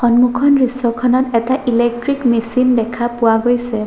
দৃশ্যখনত এটা electric machine দেখা পোৱা গৈছে।